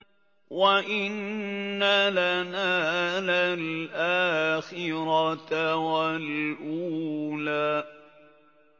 وَإِنَّ لَنَا لَلْآخِرَةَ وَالْأُولَىٰ